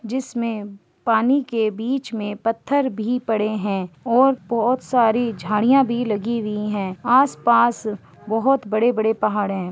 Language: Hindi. जिस में पानी के बीच में पत्थर भी पड़ें हैं और बहुत सारी झाड़ियाँ भी लगी हुई हैं आस-पास बहुत बड़े-बड़े पहाड़ हैं।